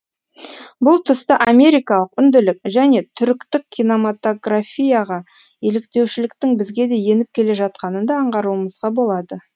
бұл тұста америкалық үнділік және түріктік киномотаграфияға еліктеушіліктің бізге де еніп келе жатқанын да аңғаруымызға болады